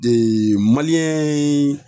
Eee maliyɛn ye